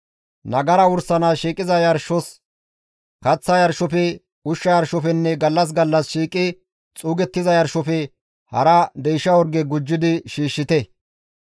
Nagara wursanaas shiiqiza yarshos, kaththa yarshofe, ushsha yarshofenne gallas gallas shiiqi xuugettiza yarshofe hara deysha orge gujjidi shiishshite.